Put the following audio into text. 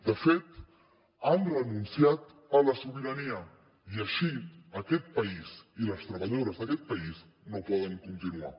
de fet han renunciat a la sobirania i així aquest país i les treballadores d’aquest país no poden continuar